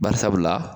Bari sabula